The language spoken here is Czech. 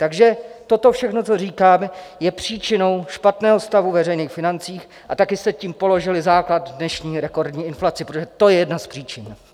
Takže toto všechno, co říkám, je příčinou špatného stavu veřejných financí a také jste tím položili základ dnešní rekordní inflaci, protože to je jedna z příčin.